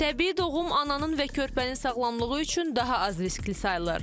Təbii doğum ananın və körpənin sağlamlığı üçün daha az riskli sayılır.